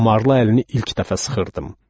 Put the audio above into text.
Damarlı əlini ilk dəfə sıxırdım.